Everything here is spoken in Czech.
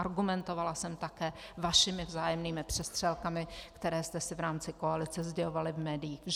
Argumentovala jsem také vašimi vzájemnými přestřelkami, které jste si v rámci koalice sdělovali v médiích.